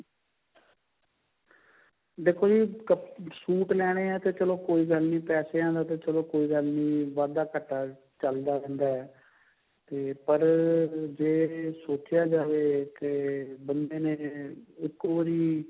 ਦੇਖੋ ਜੀ suit ਲੈਨੇ ਹੈ ਤਾਂ ਚੱਲੋ ਕੋਈ ਗੱਲ ਨਹੀਂ ਪੈਸਿਆ ਦਾ ਤਾਂ ਚੱਲੋ ਕੋਈ ਗੱਲ ਨਹੀਂ ਵਾਧਾ ਘਾਟਾ ਚੱਲ ਜਾਂਦਾ ਹੈ ਤੇ ਪਰ ਜੇ ਸੋਚਿਆ ਜਾਵੇ ਕੇ ਬੰਦੇ ਨੇ ਇੱਕੋ ਵਾਰੀ